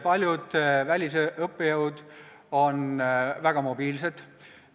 Paljud välisõppejõud on väga mobiilsed.